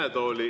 Aitäh!